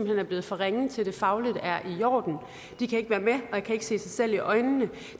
hen er blevet for ringe til at det fagligt er i orden de kan ikke være med og kan ikke se sig selv i øjnene